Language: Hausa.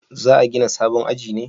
Za a gina sabon aji ne?